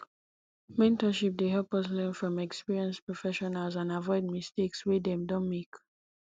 mentorship dey help us learn from experienced professionals and aviod mistakes wey dem don make